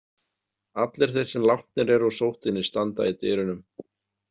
Allir þeir sem látnir eru úr sóttinni standa í dyrunum.